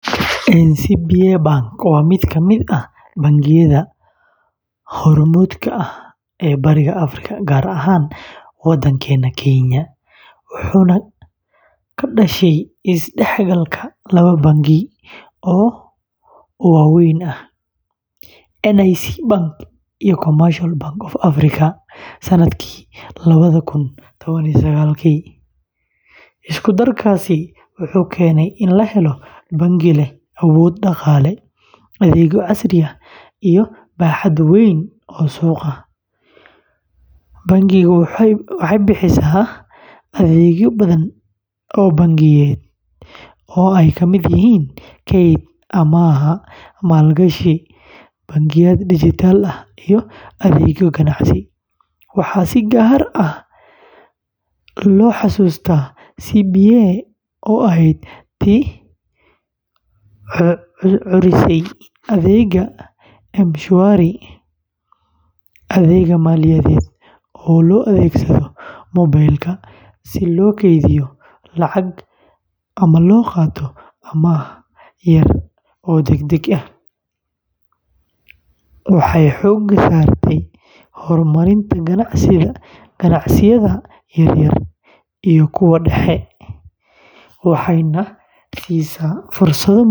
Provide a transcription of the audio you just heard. NCBA Bank waa mid ka mid ah bangiyada hormuudka ka ah Bariga Afrika, gaar ahaan Kenya, wuxuuna ka dhashay isdhexgalka laba bangi oo waa weyn ahaa: NIC Bank iyo Commercial Bank of Africa[cs sanadkii lawadha kun tawan iyo sagaalki. Isku-darkaasi wuxuu keenay in la helo bangi leh awood dhaqaale, adeegyo casri ah, iyo baaxad weyn oo suuqa ah. waxay bixisaa adeegyo badan oo bangiyeed oo ay ka mid yihiin kayd, amaah, maalgashi, bangiyada dhijitaalka ah, iyo adeegyo ganacsi. Waxaa si gaar ah loo xasuustaa CBA oo ahayd tii curisay adeegga M-Shwari wa adeeg maaliyadeed oo loo adeegsado mobile-ka si loo keydiyo lacag ama loo qaato amaah yar oo degdeg ah. waxay xoogga saartaa horumarinta ganacsiyada yaryar iyo kuwa dhexe.